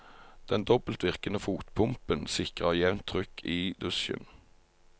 Den dobbeltvirkende fotpumpen sikrer jevnt trykk i dusjen.